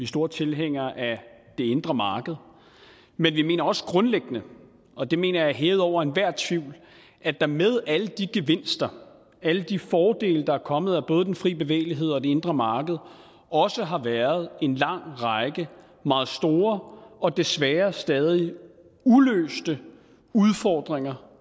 store tilhængere af det indre marked men vi mener også grundlæggende og det mener jeg er hævet over enhver tvivl at der med alle de gevinster alle de fordele der er kommet af både den fri bevægelighed og det indre marked også har været en lang række meget store og desværre stadig uløste udfordringer